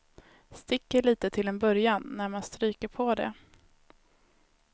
Sticker lite till en början när man stryker på det.